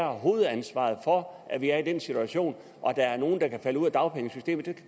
hovedansvaret for at vi er i den situation at der er nogle der kan falde ud af dagpengesystemet